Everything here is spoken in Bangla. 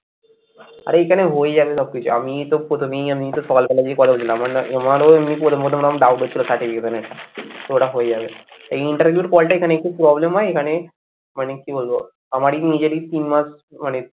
আরে এখানে হয়ে যাবে সবকিছু আমি তো তো ওটা হয়ে যাবে, এই interview র call টা এখানে একটু problem হয় এখানে মানে কি বলবো, আমারই নিজেরই তিন মাস মানে,